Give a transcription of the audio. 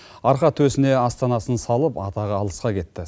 арқа төсіне астанасын салып атағы алысқа кетті